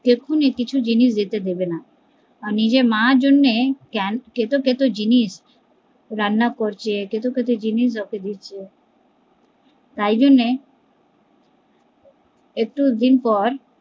এখুনি কিছু জিনিস যেতে দেবে না কারণ নিজের মার জন্যে কেত কেত জিনিস রান্না করছে, কেত কেত জিনিস ওকে দিচ্ছে তাই জন্যে একুশ দিনপর